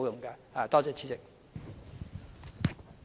多謝代理主席。